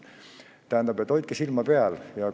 Tähendab, hoidke silma peal!